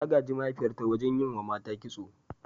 Ta gaji mahaifiyarta wurin yi wa mata kitso.